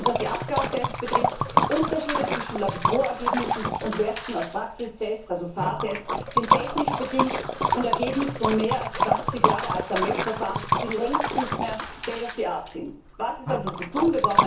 Und was die Abgastests betrifft Unterschiede zwischen Laborergebnissen und Werten aus Praxistests, also Fahrtests, sind technisch bedingt und ein Ergebnis von mehr als 20 Jahre alten Messverfahren die längst nicht mehr state of the art sind. Was ist also zu